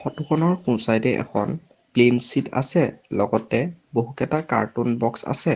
Photo খনৰ সোঁ side এ এখন প্লেইন শ্বীট লগতে বহুকেটা কাৰ্টুন বক্স আছে।